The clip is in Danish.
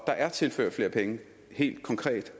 der er tilført flere penge helt konkret